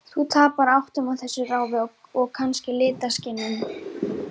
Þú tapar áttum á þessu ráfi, og kannski litaskynjun.